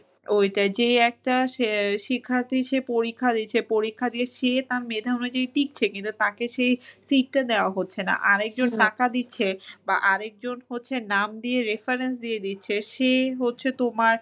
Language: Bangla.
ওইটাই। যে একটা আহ শিখাতে এসে পরীক্ষা দিচ্ছে, পরীক্ষা দিয়ে সে তার মেধা অনুযায়ী টিকছে কিনা, তাকে সেই seat টা দেওয়া হচ্ছে না। আরেকজন টাকা দিচ্ছে বা আরেকজন হচ্ছে নাম দিয়ে reference দিয়ে দিচ্ছে সে হচ্ছে তোমার